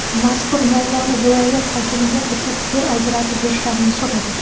Mazkur muammoni viloyat hokimiga aytib, yer ajratib berishlarini so‘radik.